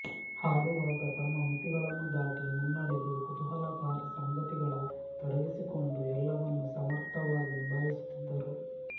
ಹಾಡುವಾಗ ತಮ್ಮ ಮಿತಿಗಳನ್ನು ದಾಟಿ ಮುನ್ನಡೆದು ಕುತೂಹಲಕಾರಿ ಸಂಗತಿಗಳಲ್ಲಿ ತೊಡಗಿಸಿಕೊಂಡು ಎಲ್ಲವನ್ನೂ ಸಮರ್ಥವಾಗಿ ನಿಭಾಯಿಸುತ್ತಿದ್ದರು